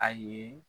A ye